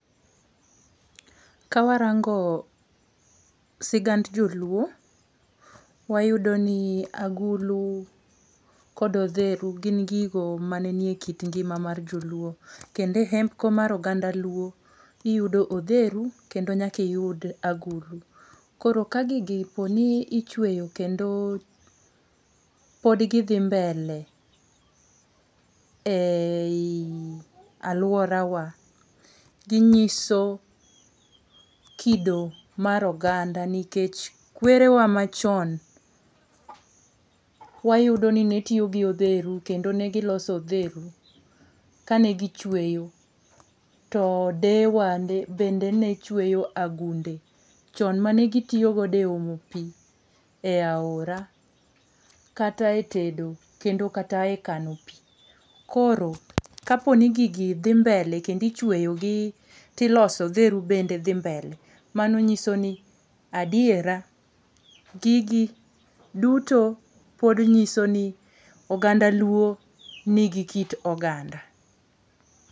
Ka warango sigand joluo, wayudo ni agulu kod odheru gin gigo mane nie kit ngima mar joluo kendo e hembko mar oganda luo iyudo odheru kendo nyaka iyud agulu. Koro ka gigi po ni ichweyo kendo pod gidhi mbele e i alworawa, ginyiso kido mar oganda nikech kwerewa machon wayudo ni netiyo gi odheru kendo ne giloso odheru kane gichweyo kendo deyewa bende ne chweyo agunde chon manegitiyogodo e omo pi e aora kata e tedo kendo kata e kano pi, koro kaponi gigi dhi mbele kendo ichweyogi tiloso odheru bende dhi mbele, mano nyiso ni adiera gigi duto pod nyiso ni oganda luo nigi kit oganda.